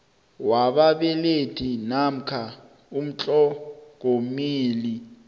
wababelethi namkha umtlhogomeli